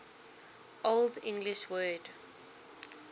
old english word